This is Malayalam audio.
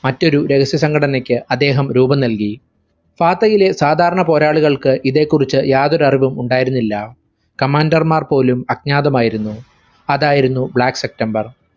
മറ്റൊരു രഹസ്യ സംഘടനയ്ക്ക് അദ്ദേഹം രൂപംനൽകി. ഫാത്തയിലെ സാധാരണ പോരാളികൾക്ക് ഇതേകുറിച്ചു യാതൊരറിവും ഉണ്ടായിരുന്നില്ല. commander മാർ പോലും അജ്ഞാതമായിരുന്നു. അതായിരുന്നു black september